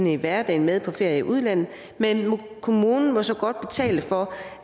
i hverdagen med på ferie i udlandet men kommunen må så godt betale for